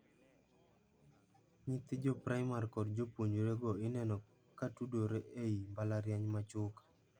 Nyithi joprimar kod jopuojre go ineno ka tudore ei mbalariany ma Chuka.